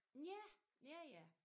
Ja? Ja ja